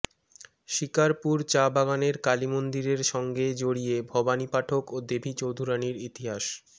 শিকারপুর চা বাগানের কালীমন্দিরের সঙ্গে জড়িয়ে ভবানী পাঠক ও দেবী চৌধুরানির ইতিহাস